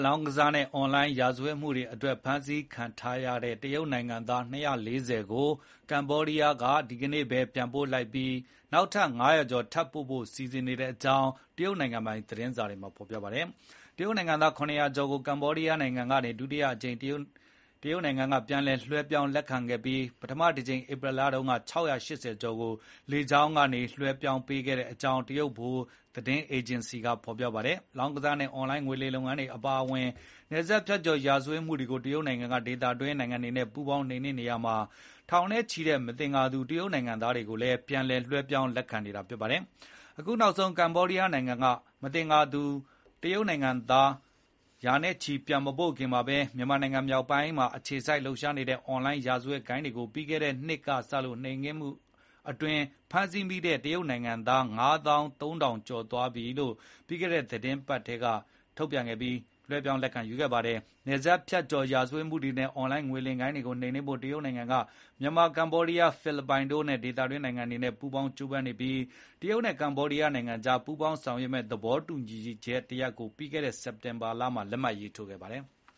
လောင်းကစားနဲ့ အွန်လိုင်းရာဇဝတ်မှုတွေအတွက် ဖမ်းဆီးခံထားရတဲ့ တရုတ်နိုင်ငံသား ၂၄၀ ကို ကမ္ဘောဒီးယားနိုင်ငံကနေ ဒီကနေ့ပဲ ပြန်ပို့လိုက်ပြီး နောက်ထပ် ၅၀၀ ကျော် ထပ်ပို့ဖို့လည်း စီစဉ်နေကြောင်း တရုတ်နိုင်ငံပိုင် သတင်းက ဖော်ပြလိုက်ပါတယ်။ တရုတ်နိုင်ငံသား ၇၀၀ ကျော်ကို ကမ္ဘောဒီးယားနိုင်ငံဆီကနေ တရုတ်နိုင်ငံက ဒုတိယအကြိမ် ပြန်လည် လွှဲပြောင်း လက်ခံခဲ့တာဖြစ်ပြီး ပထမတကြိမ် ဧပြီလမှာတုန်းကလည်း ၆၈၀ ကျော်ကို လေကြောင်းက လွှဲပြောင်းပေးခဲ့ကြောင်း တရုတ်ဗဟိုသတင်းအေဂျင်စီက ဖော်ပြခဲ့တာပါ။ လောင်းကစားနဲ့ အွန်လိုင်း ငွေလိမ်လုပ်ငန်းတွေအပါအဝင် နယ်စပ်ဖြတ်ကျော် ရာဇဝတ်မှုတွေကို တရုတ်နိုင်ငံက ဒေသတွင်း နိုင်ငံတွေနဲ့ ပူးပေါင်းနှိမ်နင်းနေရာမှာ ထောင်နဲ့ချီတဲ့ မသင်္ကာသူ တရုတ်နိုင်ငံသားတွေကိုလည်း ပြန်လည် လွှဲပြောင်း လက်ခံနေတာ ဖြစ်ပါတယ်။ အခုနောက်ဆုံး ကမ္ဘောဒီးယားနိုင်ငံက မသင်္ကာသူတရုတ်နိုင်ငံသား ရာနဲ့ချီ ပြန်မပို့ခင်မှာပဲ မြန်မာနိုင်ငံ မြောက်ပိုင်းမှာ အခြေစိုက်လှုပ်ရှားနေတဲ့ အွန်လိုင်းရာဇဝတ်ဂိုဏ်းတွေကို ပြီးခဲ့တဲ့နှစ်ကစ နှိမ်နင်းမှုတွေ အတွင်း ဖမ်းဆီးမိခဲ့တဲ့ တရုတ်နိုင်ငံသား ၅၃,၀၀၀ ကျော်ကို ပြီးခဲ့တဲ့ သီတင်းပတ်ထဲ ပြန်လည်လွှဲပြောင်း လက်ခံခဲ့တာပါ။ နယ်စပ်ဖြတ်ကျော် ရာဇဝတ်မှုတွေနဲ့ အွန်လိုင်းငွေလိမ်ဂိုဏ်းတွေကို နှိမ်နင်းဖို့ တရုတ်နိုင်ငံက မြန်မာ၊ ကမ္ဘောဒီးယား၊ ဖိလစ်ပိုင်တို့လို ဒေသတွင်းနိုင်ငံတွေနဲ့ ပူးပေါင်းကြိုးပမ်းနေပြီး တရုတ်နဲ့ ကမ္ဘောဒီးယားနိုင်ငံကြား ပူးပေါင်းဆောင်ရွက်မယ့် သဘောတူညီချက်တရပ်ကိုလည်း ပြီးခဲ့တဲ့ စက်တင်ဘာလထဲမှာပဲ လက်မှတ်ရေးထိုးထားပါတယ်။